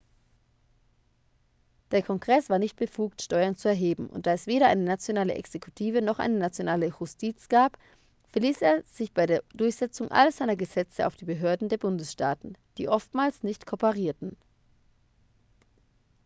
der kongress war nicht befugt steuern zu erheben und da es weder eine nationale exekutive noch eine nationale justiz gab verließ er sich bei der durchsetzung all seiner gesetze auf die behörden der bundesstaaten die oftmals nicht kooperierten